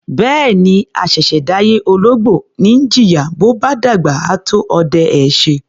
Bẹ́ẹ̀ni, àṣẹ̀ṣẹ̀ dáyé ológbò ni í jìyà, bó bá dàgbà, á tó ọdẹ ẹ́ ṣe.